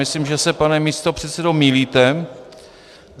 Myslím, že se, pane místopředsedo, mýlíte.